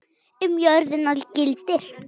Um jörðina gildir